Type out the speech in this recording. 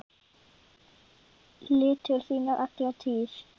litir þínir alla tíð.